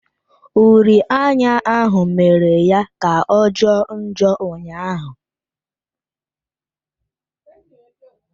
Uri anya ahụ mere ya kà ọ jọọ njọ ụnyaahụ.